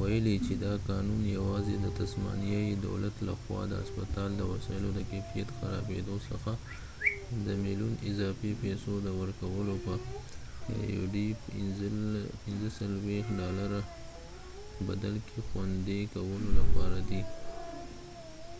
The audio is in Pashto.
ویلي چې دا قانون یواځې د تسمانیایی دولت لخوا د هسپتال د وسایلو د کیفیت د خرابیدو څخه د aud$45 ملیون اضافي پیسو د ورکولو په بدل کې خوندي کولو لپاره دی